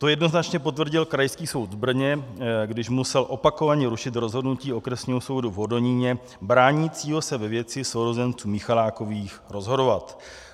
To jednoznačně potvrdil Krajský soud v Brně, když musel opakovaně rušit rozhodnutí Okresního soudu v Hodoníně bránícího se ve věci sourozenců Michalákových rozhodovat.